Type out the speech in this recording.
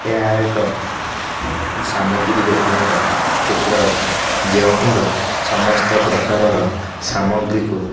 ଏହା ଏକ ସାମଗ୍ରୀ ଦୋକାନ ର ଚିତ୍ର ଅଟେ ଯେଉଁ ଠାରେ ସମସ୍ତ ପ୍ରକାର ର ସାମଗ୍ରୀ କୁ --